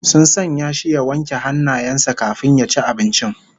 Sun sanya shi ya wanke hannayen sa kafin ya ci abincin